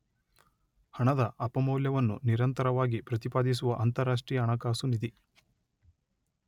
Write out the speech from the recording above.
ಹಣದ ಅಪಮೌಲ್ಯವನ್ನು ನಿರಂತರವಾಗಿ ಪ್ರತಿಪಾದಿಸುವ ಅಂತರರಾಷ್ಟ್ರೀಯ ಹಣಕಾಸು ನಿಧಿ